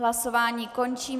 Hlasování končím.